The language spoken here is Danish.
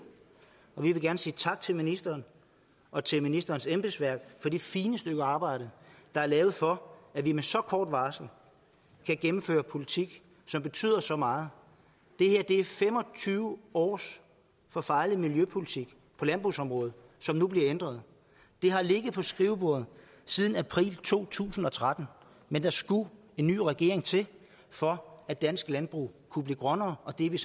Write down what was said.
vi vil gerne sige tak til ministeren og til ministerens embedsværk for det fine stykke arbejde der er lavet for at vi med så kort varsel kan gennemføre politik som betyder så meget det her er fem og tyve års forfejlet miljøpolitik på landbrugsområdet som nu bliver ændret det har ligget på skrivebordet siden april to tusind og tretten men der skulle en ny regering til for at dansk landbrug kunne blive grønnere og det er vi